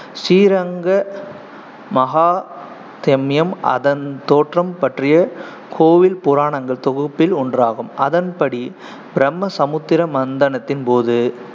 Sriranga Mahatmyam அதன் தோற்றம் பற்றிய கோயில் புராணங்கள் தொகுப்பில் ஒன்றாகும் அதன் படி, பிரம்ம சமுத்திர மந்தனத்தின் போது